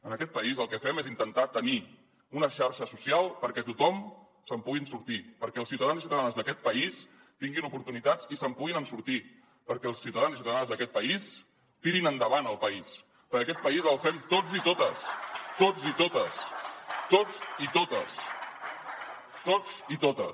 en aquest país el que fem és intentar tenir una xarxa social perquè tothom se’n pugui sortir perquè els ciutadans i ciutadanes d’aquest país tinguin oportunitats i se’n puguin sortir perquè els ciutadans i ciutadanes d’aquest país tirin endavant el país perquè aquest país el fem tots i totes tots i totes